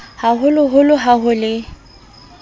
ha holoholo ha ho e